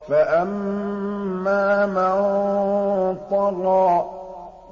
فَأَمَّا مَن طَغَىٰ